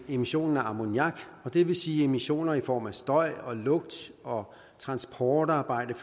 emissionen af ammoniak og det vil sige at emissioner i form af støj og lugt og transportarbejde